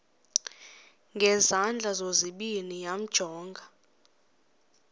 ngezandla zozibini yamjonga